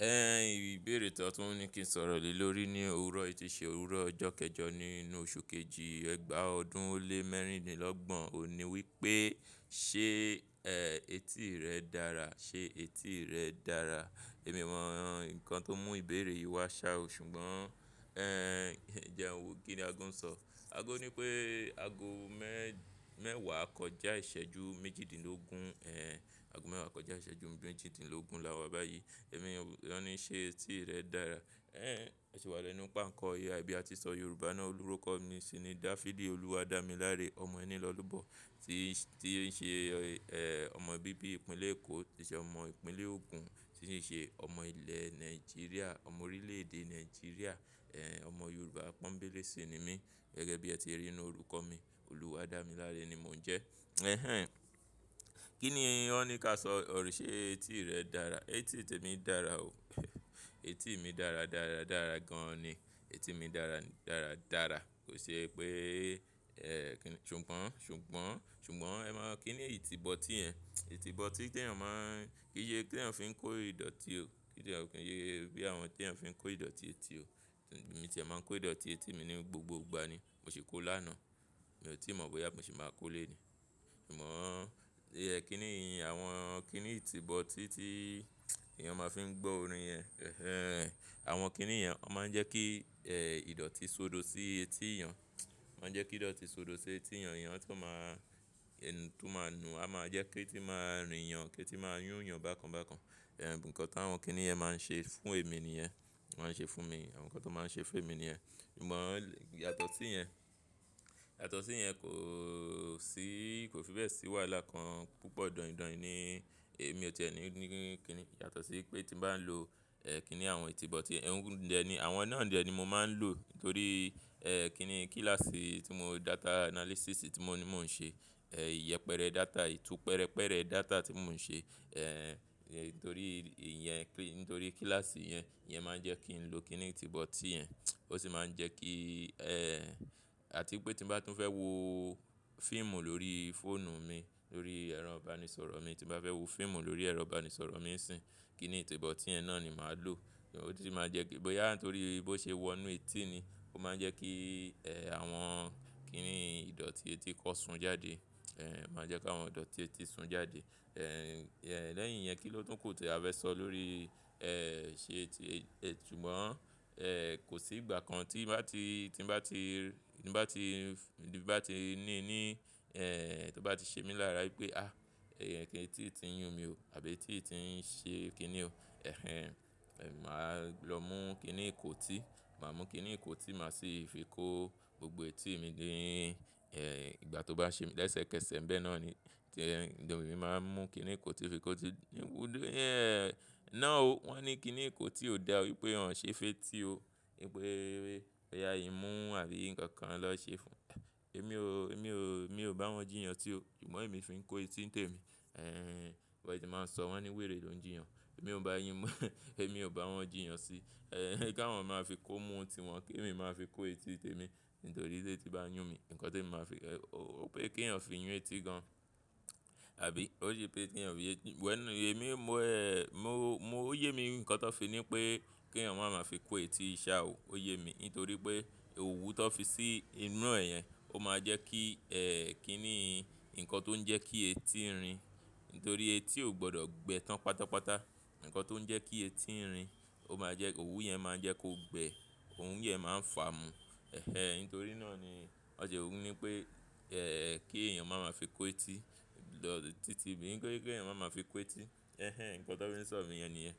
Ẹn ìbéèrè tó tún ní kí n sọ̀rọ̀ lé lórí ní òwúrọ̀ yi, tí ṣe òwúrọ̀ ọjọ́ kẹjọ nínú oṣù kejì ẹ́gbàà ọdún ó lé mẹ́rìndínlọ́gbọ̀n. Ó ní wí pé, "ṣé ẹtí rẹ dára? Ṣé etí rẹ dára?" Èmi mọ nǹkan tó mú ìbéèrè yìí wá ṣá, ṣùgbọ́n ẹ́n jẹ́ ń wo kí ni aago ń sọ. Aago ní pé aago mẹ́wàá kọjá ìṣẹ́jú méjìdínlógún, ẹ́n aago mẹ́wàá kọjá ìṣẹ́jú mẹ́jìdínlógún la wá báyìí. Ẹ̀mi ọ́n ní, "ṣé etí rẹ dára?" Ẹ́n mosi wà lẹ́nu pe'ánkó AI, bí a ti nsọ Yorùbá náà. Olúrókọ mi si ni Dafidi Olúwadámiláre ọmọ ẹnilọ́lobọ́ tí ṣe ọmọ bíbí ìpínlẹ̀ Èkó, tí ṣe ọmọ ìpínlẹ̀ Ogun, tí ṣe ṣe ọmọ ilẹ̀ Nàìjíríà, ọmọ orílẹ̀-èdè Nàìjíríà, ẹ́n ọmọ Yorùbá pọ́nbélé ṣi ni mí. Gẹ́gẹ́ bí ẹ ti rí nínú orúkọ mi, Olúwadámiláre ni mò ń jẹ́. Ẹhẹn, kí ni won ní ká sọ ọ̀rọ̀ ṣé etí rẹ dára? Etí tèmi dára o. Etí mi dára, dára, dára gan-an ni. Etí mi dára, dára, dára. Kò ṣe pé ẹ́ ṣùgbọ́n, ṣùgbọ́n, ṣùgbọ́n ẹ máa kí ni ìtìbọ̀tí yẹ̀. Ìtìbọ̀tí tí èèyàn máa ń-- kí se tí èèyàn fi ń kó ìdọ̀tí ò. Kí jẹ́ kí se bí àwọn tí èèyàn fi ń kó ìdọ̀tí etí ò. Èmi tìẹ́ máa ń kó ìdọ̀tí etí mi ní gbogbo ìgbà ni. Mo ṣi kó lánàá. Mi ò tí ì mọ̀ bóyá mo ṣi máa kó léni. Ṣùgbọ́n kí ni ìyẹn àwọn kí ni ìtìbọ̀tí tí èèyàn máa fi ń gbọ́ orin yẹn. Ẹ̀hẹn àwọn kí ni yẹn, wọ́n máa ń jẹ́ kí ẹ́ ìdọ̀tí sodo sí etí èèyàn. Wọ́n máa ń jẹ́ kí ìdọ̀tí sodo sí etí èèyàn, èèyàn tun máa nù a máa jẹ́ kí eti máa rìn yàn, k'eti máa yún yàn bákan bákan. Ẹ̀n nǹkan tí àwọn kí ni ìyẹn máa ń ṣe fún èmi nìyẹn. Wọ́n máa ń ṣe fún mi. Àwọn nǹkan tó máa ń ṣe fún èmi nìyẹn. Ṣùgbọ́n yàtọ̀ sí ìyẹn, yàtọ̀ sí ìyẹn kò sí, kò fi bẹ́ẹ̀ sí wàhálà kan púpọ̀ daindain ni. Èmi ò ti ẹ́ni ní kí ni-- yàtọ̀ sí pé tí mo bá ń lo ẹ́ kí ni àwọn ìtìbọ̀tí ẹ̀. Ẹ̀hún, àwọn náà dẹ̀ ni mo máa ń lò torí ẹ́ kí ni kíláàsì data analysis tí mo ní mò ń ṣe. Ẹ̀ ìyẹ́pẹrẹ data, ìtú pẹrẹpẹrẹ data tí mò ń ṣe. Ẹ̀ nítorí ìyẹn, nítorí kíláàsì yẹn, ìyẹn máa ń jẹ́ kí n lo kí ni ìtìbọ̀tí yẹ̀. Ó sì máa ń jẹ́ kí ẹ́ àti pé tí mo bá tún fẹ́ wo fíìmù lórí fóònù mi, lórí ẹ́rọ ìbánisọ̀rọ̀ mi, tí mo bá fẹ́ wo fíìmù lórí ẹ́rọ ìbánisọ̀rọ̀ mi nsìn, kí ni ìtìbọ̀tí yẹ náà ni màá lò. Ó sì máa jẹ́ kí bóyá nítorí bó ṣe wọ inú etí ni, ó máa ń jẹ́ kí ẹ́ àwọn kí ni ìdọ̀tí etí kó sun jáde. Ẹ̀ o máa ń jẹ́ kí àwọn ìdọ̀tí etí sun jáde. Ẹ̀ lẹ́yìn yẹn kí ló tún kò tì a fẹ́ sọ lórí ẹ́ ṣé etí-- ṣùgbọ́n ẹ́ kò sí ìgbà kan tí bá ti, tí bá ti ní ní ẹ́ tó bá ti ṣe mí lára wípé, "a! Ẹ́ etí yi ti ń yún mi o àbí etí yi ti ń ṣe kí ni o." Ẹ̀hẹn màá lọ mú kí ni ìkótí, màá mú kí ni ìkótí, màá sì fi kó gbogbo etí mi nii. Ẹ̀ ìgbà tó bá ṣe mí lẹ́sẹ̀kẹsẹ̀, ń bẹ́ náà ni tí ẹ̀ emi màá mú kí ni ìkótí fi kó ti. Ẹ́ náà o, wọ́n ní kí ni ìkótí ò dá o wípé wòn ò ṣe fetí o. Wípé bóyá ìmu àbí ǹkan kan nọ ṣe fún. Èmi ò, èmi ò, èmi ò bá wọn jíyàn sí o, ṣùgbọ́n èmi fi ń kó etí tèmi. Ẹ̀ biwọ́n se máa ń sọ wọ́n ní wèrè ló ń jíyàn. Èmi ò bá yín mú, èmi ò bá wọn jíyàn sí. Ẹ̀ kí àwọn máa fi kó mu tiwọn, kí èmi máa fi kó etí tèmi nítorí tí etí bá yún mi. Nǹkan temi màá fi, ó pé kí èèyàn fi yún etí gan àbí? Ó ṣe pay kí èèyàn fi yún eti-- well, èmi mo ẹ́, mo, mo ó yé mi ǹkan tón fi ní pé kí èèyàn máa ma fi kó etí ṣa o. Ó yé mi nítorí pé òwú tón fi sí inú rẹ̀ yẹn ó máa jẹ́ kí ẹ́ kí ni nǹkan tó ń jẹ́ kí etí rìn. Nítorí etí ò gbọdọ̀ gbẹ tán pátápátá. Ǹkan tó ń jẹ́ kí etí rìn, ó máa jẹ́-- òwú yẹn máa ń jẹ́ kó gbẹ, òwù yẹn máa ń fà mú. Ẹ̀hẹn nítorí náà ni wọ́n se wó ní pé ẹ́ kí èèyàn máa ma fi kó etí lọ títí kin se pe kèèyàn máa ma fi kó etí. Ẹ̀hẹn nǹkan tó fi sọ̀ mí yẹn nìyẹn.